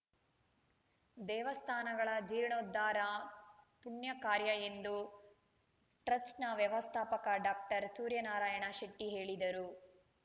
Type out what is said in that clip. ದೇವಸ್ಥಾನಗಳ ಜೀರ್ಣೋದ್ಧಾರ ಪುಣ್ಯ ಕಾರ್ಯ ಎಂದು ಟ್ರಸ್ಟ್‌ ವ್ಯವಸ್ಥಾಪಕ ಡಾಕ್ಟರ್ ಸೂರ್ಯನಾರಾಯಣ ಶೆಟ್ಟಿಹೇಳಿದರು